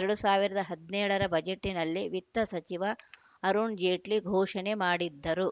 ಎರಡ್ ಸಾವಿರದ ಹದಿನೇಳರ ಬಜೆಟ್‌ನಲ್ಲಿ ವಿತ್ತ ಸಚಿವ ಅರುಣ್‌ ಜೇಟ್ಲಿ ಘೋಷಣೆ ಮಾಡಿದ್ದರು